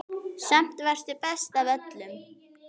Samt varstu best af öllum.